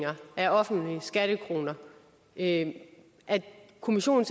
af offentlige skattekroner at kommissionen